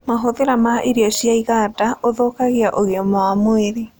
Mahũthĩra ma irio cia ĩganda ũthũkagĩa ũgima wa mwĩrĩ